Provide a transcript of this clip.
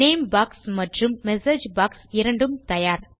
name box மற்றும் message box இரண்டும் தயார்